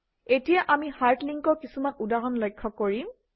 এতিয়া আমি হাৰ্ড লিংকৰ কিছুমান উদাহৰণ লক্ষ্য কৰিম